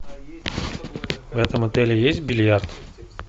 в этом отеле есть бильярд